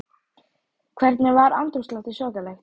Páll: Hvernig var andrúmsloftið svakalegt?